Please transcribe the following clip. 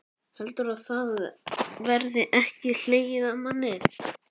Heldurðu að það verði ekki hlegið að manni?